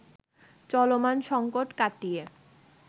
চলমান সংকট কাটিয়ে